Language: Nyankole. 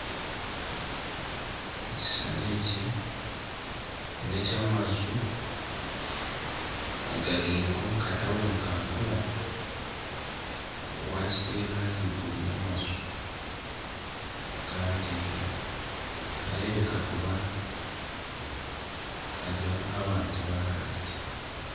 Ekishushani eki n'eky'amaju agari nk'omu katawuni kakura wakiterera ahiguru ya maju kandi niharebeka kuba hari aha bantu ba hansi